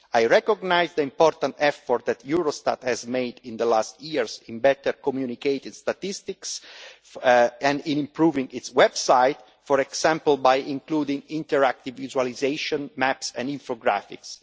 I recognise the important effort that Eurostat has made in the last number of years regarding better communicated statistics and improving its website, for example, by including interactive visualisation maps and infographics.